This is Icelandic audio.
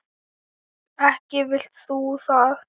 Ekki vilt þú það?